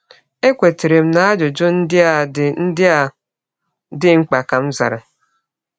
“Ekwetara m na ajụjụ ndị a dị ndị a dị mkpa,” ka m zara.